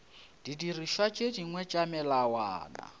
didirišwa tše dingwe tša melawana